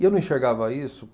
E eu não enxergava isso.